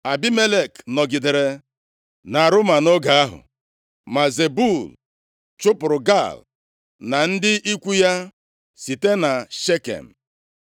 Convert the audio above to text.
Abimelek nọgidere nʼAruma nʼoge ahụ. Ma Zebul chụpụrụ Gaal na ndị ikwu ya site na Shekem.